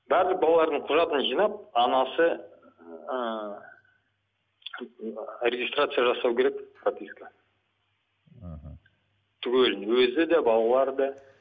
барлық балалардың құжатын жинап анасы ыыы регистрация жасау керек прописка мхм түгелін өзі де балалары да